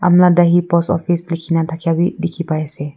Umla dahe post office leke kena thakeya beh dekhe pai ase.